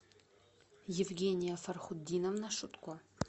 евгения фархутдиновна шутко